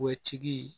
O tigi